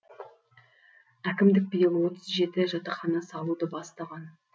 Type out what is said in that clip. әкімдік биыл отыз жеті жатақхана салуды бастаған